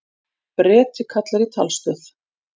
Breti kallar í talstöð.